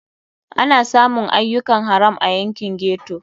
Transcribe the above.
Ana samun ayyukan haram a yankin ghetto.